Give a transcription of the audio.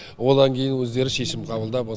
одан кейін өздері шешім қабылдап